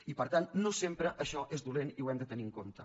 i per tant no sempre això és dolent i ho hem de tenir compte